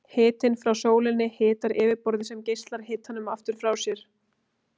Hitinn frá sólinni hitar yfirborðið sem geislar hitanum aftur frá sér.